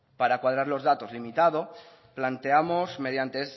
para cuadrar los datos limitado planteamos mediante